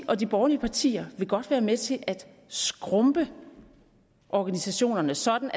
og de borgerlige partier vil godt være med til at skrumpe organisationerne sådan